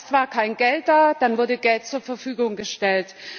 Erst war kein Geld da, dann wurde Geld zur Verfügung gestellt.